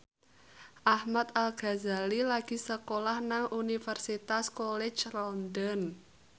Ahmad Al Ghazali lagi sekolah nang Universitas College London